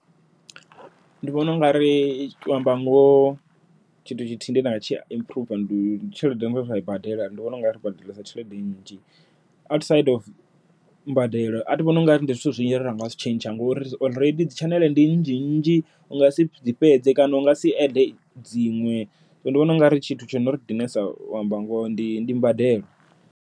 Ndi vhona unga ri utou amba ngoho tshithu tshithihi nda nga tshi improve ndi tshelede ye nda i badela ndi vhona ungari ri badelesa tshelede nnzhi, outside of mbadelo athi vhoni ungari ndi zwithu zwine ringa zwi tshentsha ngori already dzi tshaneḽe ndi nnzhi nnzhi u nga si dzi fhedze kana u nga si add dziṅwe zwino ndi vhona ungari tshithu tsho no ri dinesa u amba ngoho ndi ndi mbadelo.